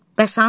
Bəs hanı?